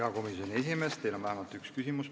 Hea komisjoni esimees, teile on vähemalt üks küsimus.